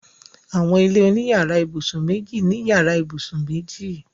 Àwọn ilé oní yàrá-ìbùsùn méjì ní yàrá ìbùsùn méjì.